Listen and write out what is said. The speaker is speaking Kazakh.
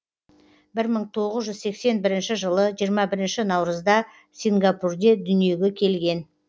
бір мың тоғыз жүз сексен бірінші жылы жиырма бірінші наурызда сингапурде дүниеге келген